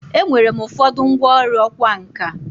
Enwere m ụfọdụ ngwọrụ ọkwa nka.